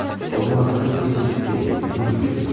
Onun atası bizi incitdi, bizi müflis etdi.